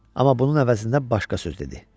Amma bunun əvəzində başqa söz dedi.